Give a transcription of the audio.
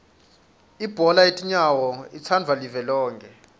ibhola yetinyawo itsandvwa live lonkhe